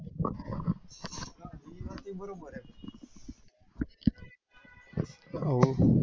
હો